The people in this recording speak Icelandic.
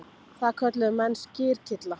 Það kölluðu menn skyrkylla.